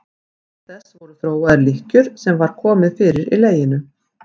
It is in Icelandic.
Auk þess voru þróaðar lykkjur sem var komið fyrir í leginu.